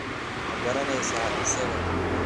Ma garanaysaa isaga?